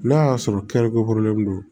N'a y'a sɔrɔ kɛrɛkolen don